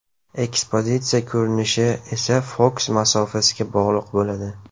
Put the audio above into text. Ekspozitsiya ko‘rinishi esa fokus masofasiga bog‘liq bo‘ladi.